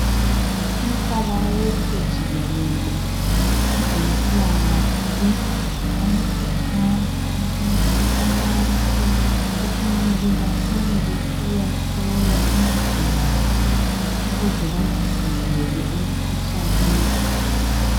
Umhlaba wonke jikelele kwezempilakahle uyakhuthaza ukuthi abantu kufanele batshone besiyahlolwa imizimba yabo ukuze bazivikele emkhuhlaneni